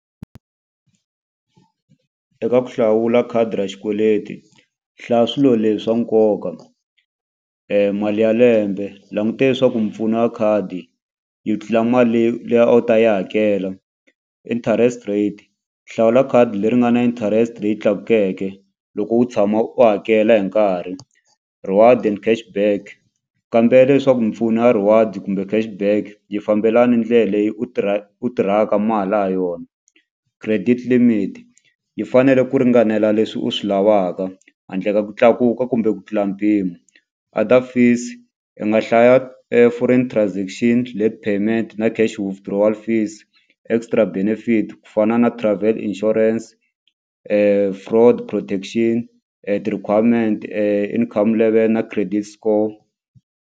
Eka ku hlawula khadi ra xikweleti hlaya swilo leswa nkoka mali ya lembe languta leswaku mpfuno ya khadi yi tlula mali leyi leyi a wu ta yi hakela interest rate hlawula khadi leri nga na interest leyi tlakukeke loko u tshama u hakela hi nkarhi reward and cash back kambela leswaku mpfuno ya reward kumbe cash back yi fambelani ndlela leyi u tirha u tirhaka mali ha yona credit limit yi fanele ku ringanela leswi u swi lavaka handle ka ku tlakuka kumbe ku tlula mpimo other fees i nga hlaya foreign transaction, payment na cash withdrawal fees extra benefit ku fana na travel insurance fraud protection ti-requirement, income level na credit score.